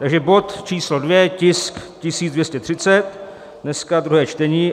Takže bod číslo 2, tisk 1230, dneska, druhé čtení.